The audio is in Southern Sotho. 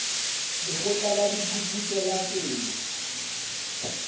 lekgotla la diphuputso la temo